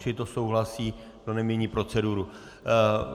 Čili to souhlasí, to nemění proceduru.